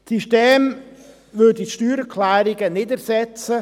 Das System würde die Steuererklärungen nicht erset zen.